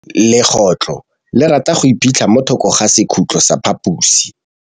Legôtlô le rata go iphitlha mo thokô ga sekhutlo sa phaposi.